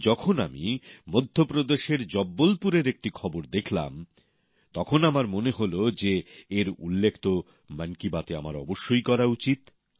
তাই যখন আমি মধ্যপ্রদেশের জবলপুরের একটি খবর দেখলাম তখন আমার মনে হল যে এর উল্লেখ তো মন কি বাতে আমার অবশ্যই করা উচিত